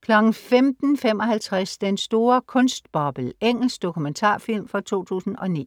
Plums 15:55 Den store kunstboble. Engelsk dokumentarfilm fra 2009